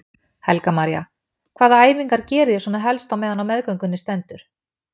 Helga María: Hvaða æfingar geriði svona helst á meðan á meðgöngunni stendur?